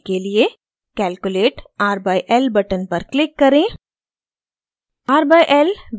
values दिखाने के लिए calculate r/l button पर click करें